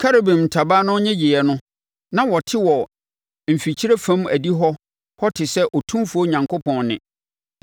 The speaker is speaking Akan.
Kerubim ntaban no nnyegyeeɛ no, na wɔte wɔ mfikyire fam adihɔ hɔ te sɛ Otumfoɔ Onyankopɔn nne, ɛberɛ a ɔrekasa.